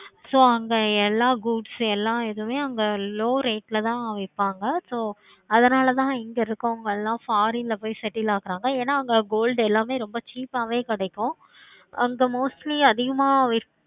so அங்க எல்லா groups உம் எல்லா இதுவுமே அங்க low rate ல தான் விப்பாங்க so அதனால தான் இங்க இருக்கவங்க foreign ல போய் settle ஆகுறாங்க ஏனா அங்க gold எல்லாமே ரொம்ப cheap ஆஹ் வே கிடைக்கும் அங்க mostly அதிகமா